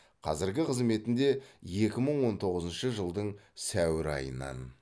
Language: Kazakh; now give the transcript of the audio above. қазіргі қызметінде екі мың он тоғызыншы жылдың сәуір айынан